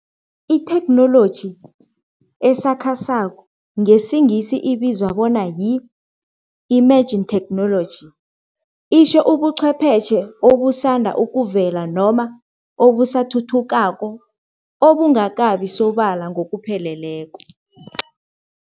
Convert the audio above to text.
Itheknoloji esakhasako ngesiNgisi ibizwa bona yi-emerging technology, itjho ubuchwepheshe obusanda ukuvela noma obusathuthukako, obungakabi sobala ngokupheleleko.